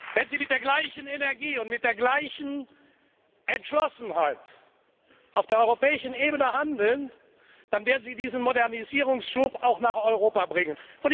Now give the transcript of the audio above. Wenn Sie mit der gleichen Energie und mit der gleichen Entschlossenheit auf der europäischen Ebene handeln, dann werden Sie diesen Modernisierungsschub auch nach Europa bringen.